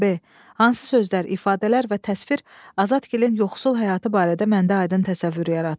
B Hansı sözlər, ifadələr və təsvir Azəkinin yoxsul həyatı barədə məndə aydın təsəvvür yaratdı?